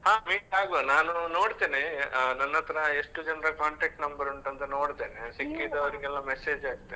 ಹಾ meet ಆಗುವ, ನಾನು ನೋಡ್ತೇನೆ ಆ ನನ್ ಹತ್ರ ಎಷ್ಟು ಜನರ contact number ಉಂಟಂತ ನೋಡ್ತೇನೆ ಸಿಕ್ಕಿದೋರಿಗೆಲ್ಲ message ಹಾಕ್ತೇನೆ.